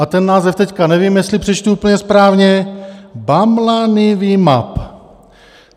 A ten název teď nevím, jestli přečtu úplně správně - Bamlanivimab.